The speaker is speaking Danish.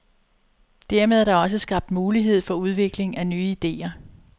Dermed er der også skabt mulighed for udviklingen af nye idéer.